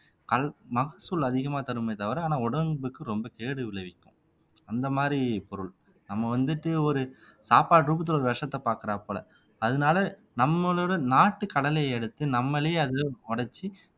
கல் மகசூல் அதிகமா தருமே தவிர ஆனா உடம்புக்கு ரொம்ப கேடு விளைவிக்கும் அந்த மாதிரி பொருள் நம்ம வந்துட்டு ஒரு சாப்பாட்டு ரூபத்துல ஒரு விஷத்தை பார்க்கிறாப்புல அதனால நம்மளோட நாட்டு கடலையை எடுத்து நம்மளே அதுல உடைச்சு